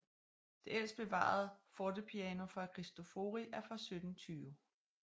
Det ældst bevarede fortepiano fra Cristofori er fra 1720